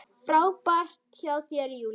Frábært hjá þér, Júlía!